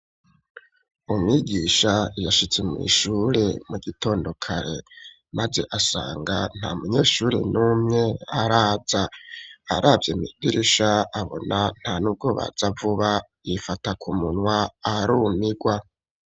Umwigisha yashitse mw'ishure mu gitondo kare, maze asanga nta munyeshuri n'umwe araza, aravye mw'idirisha abona nta n'ubwo baza vuba, yifata k'umunwa arumirwa.